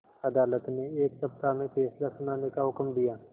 अदालत ने एक सप्ताह में फैसला सुनाने का हुक्म दिया